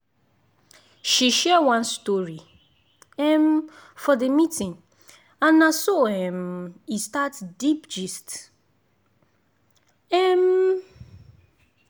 she share one story um for the meeting and na so um e start deep gist. um